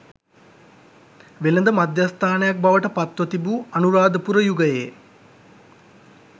වෙළෙඳ මධ්‍යස්ථානයක් බවට පත්ව තිබූ අනුරාධපුර යුගයේ